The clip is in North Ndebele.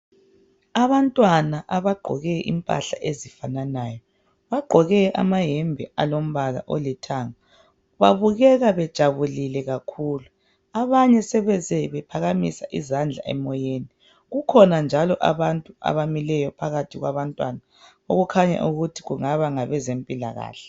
Abantwana abagqoke impahla ezifananayo, bagqoke amayembe alombala olithanga. Babukeka bejabulile kakhulu abanye sebeze bephakamisa izandla emoyeni. Kukhona njalo abantu abamileyo phakathi kwabantwana okukhanya ukuthi kungaba ngabezempilakahle